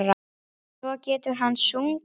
Svo getur hann sungið.